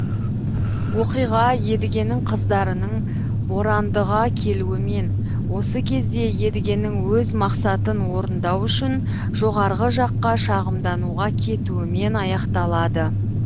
оқиға едігенің қыздарының борандыға келуімен осы кезде едігенің өз мақсатын орындау үшін жоғарғы жаққа шағымдануға кетуімен аяқталады